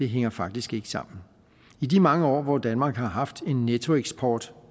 hænger faktisk ikke sammen i de mange år hvor danmark har haft en nettoeksport